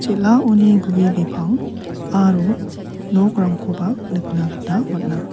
elaoni gue bipang aro nokrangkoba nikna gita man·a.